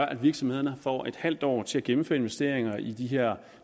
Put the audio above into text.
at virksomhederne får et halvt år til at gennemføre investeringer i de her